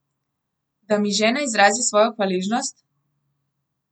Da mi žena izrazi svojo hvaležnost?